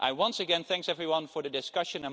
Once again, I thank everyone for the discussion.